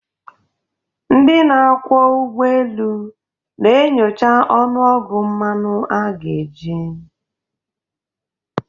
ndị na-akwọ ụgbọ elu, na-enyocha ọnụọgụ mmanụ a ga-eji